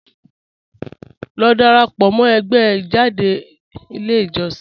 Lọ dárápọ̀ mọ̀ ẹ̀gbẹ́ ijádẹ̀ ilẹ̀ ijọ̀ṣìn